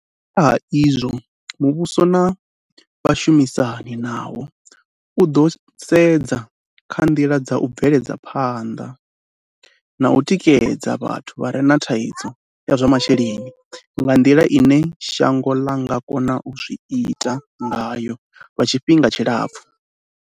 Nga nṱha ha izwo, muvhuso na vhashumisani nawo u ḓo sedza kha nḓila dza u bvela phanḓa na u tikedza vhathu vha re na thaidzo ya zwa masheleni nga nḓila ine shango ḽa nga kona u zwi ita ngayo lwa tshifhinga tshilapfu.